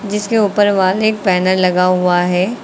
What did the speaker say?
जिसके ऊपर वाले पैनल लगा हुआ है।